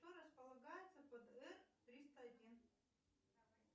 что располагается под р триста один